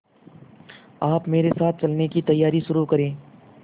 आप मेरे साथ चलने की तैयारी शुरू करें